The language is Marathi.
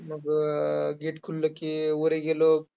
मग gate खुललं की वरी गेलो.